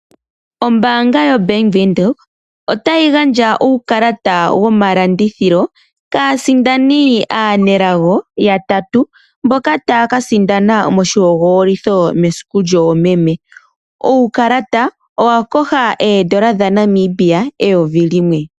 Ombaanga yoBank Windhoek otayi gandja uukalata womalandithilo kaasindani aanelago yatatu, mboka taya ka sindana moshihogololitho mesiku lyoomeme. Uukalata owa koha oondola dha Namibia eyovi limwe.